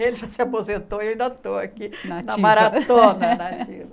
Ele já se aposentou e eu ainda estou aqui Na ativa Na maratona na ativa.